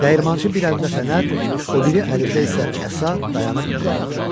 Dəyirmançı bir əlində fənər, o biri əlində isə əsa, dayanıb ona baxır.